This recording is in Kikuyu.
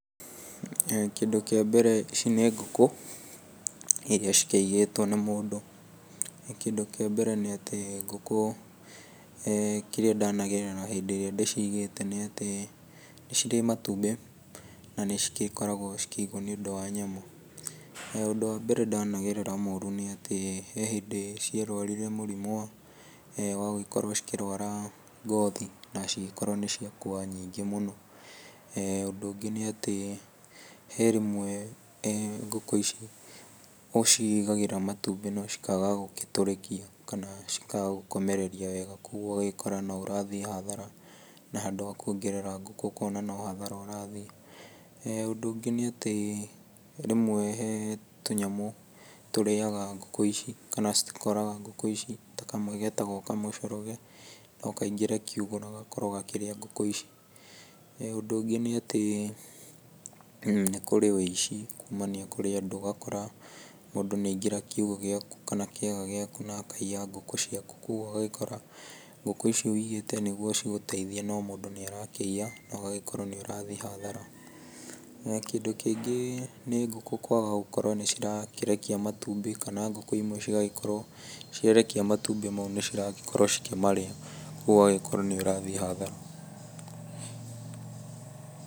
Kĩndũ kĩa mbere ici nĩ ngũkũ, iria cikĩigĩtwo nĩ mũndũ. Kĩndũ kĩa mbere ni atĩ ngũkũ kĩrĩa ndanagerera hĩndĩ ĩrĩa ndĩcigĩte nĩ atĩ nĩ cirĩ matumbĩ, na ni cigĩkoragwo cikĩigwo nĩ ũndũ wa nyama. Ũndũ wa mbere ndanagerera mũrũ nĩ atĩ he hĩndĩ ciarwarire mũrimũ wa gũgĩkorwo cikĩrwara ngothi, na cigĩkorwo nĩ ciakua nyingĩ mũno. Ũndũ ũngĩ ni atĩ he rĩmwe ngũkũ ici ũcigagĩra matumbĩ na cikaga gũgĩtũrĩkia kana cikaga gũkomereria wega, kogwo ũgagĩkora no ũrathiĩ hathara na handũ wa kwongerera ngũkũ ukona no hathara ũrathiĩ. Ũndũ ũngĩ nĩ atĩ rĩmwe we tũnyamũ tũrĩaga ngũkũ ici kana cikoraga ngũkũ ici, ta kamwe getagwo kamũcoroge. No kaingĩre kiugũ na gakorwo gakĩrĩa ngũkũ ici. Ũndũ ũngĩ nĩ atĩ nĩ kurĩ uici kumania kurĩ andũ, ũgakora mũndũ nĩ aingĩra kiugũ gĩaku kana kĩaga gĩaku akaiya nguku ciaku, kogwo ũgagĩkora ngũkũ icio ũigĩte nĩguo cigũteithie no mũndũ nĩ arakĩiya, na ũgagĩkorwo nĩ ũrathiĩ hathara. Kĩndũ kĩngĩ nĩ ngũkũ kwaga gũkorwo nĩ cirakĩrekia matumbĩ, kana ngũkũ imwe cigagĩkorwo ciarekia matumbĩ macio nĩ cirakorwo cikĩmarĩa, kogwo ũgagĩkorwo nĩ ũrathiĩ hathara.